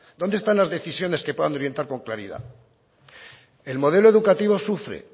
dónde están las decisiones que puedan orientar con claridad el modelo educativo sufre